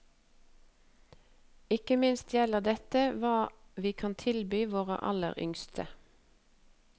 Ikke minst gjelder dette hva vi kan tilby våre aller yngste.